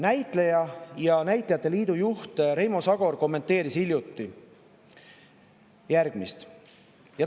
Näitleja ja näitlejate liidu juht Reimo Sagor kommenteeris seda hiljuti järgmiselt.